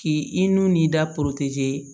K'i i n'u n'i da